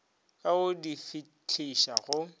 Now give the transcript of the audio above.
ka go di fihliša go